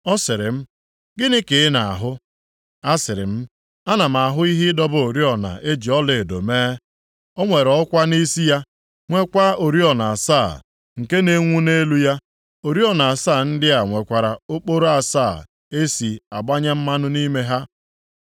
Ọ sịrị m, “Gịnị ka ị na-ahụ?” Asịrị m, “Ana m ahụ ihe ịdọba oriọna e ji ọlaedo mee. O nwere ọkwa nʼisi ya, nweekwa oriọna asaa, nke na-enwu nʼelu ya. Oriọna asaa ndị a nwekwara okporo asaa e si agbanye mmanụ nʼime ha.